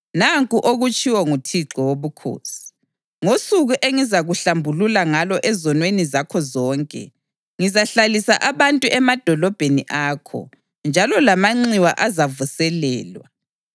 Nanku okutshiwo nguThixo Wobukhosi: Ngosuku engizakuhlambulula ngalo ezonweni zakho zonke, ngizahlalisa abantu emadolobheni akho, njalo lamanxiwa azavuselelwa.